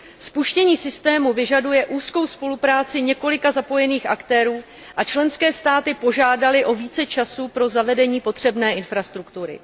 Spuštění systému vyžaduje úzkou spolupráci několika zapojených aktérů a členské státy požádaly o více času pro zavedení potřebné infrastruktury.